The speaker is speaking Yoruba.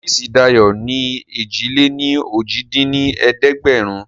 Ọọ́fíìsì Dayo ni èjì-lé-ní-ojì dín ní ẹ̀ẹ́dẹ́gbẹ́rún